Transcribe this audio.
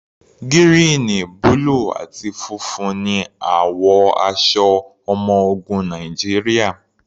Gírìn, búlù àti funfun ní àwọ̀ aṣọ ọmọ ogun Nàìjíríà.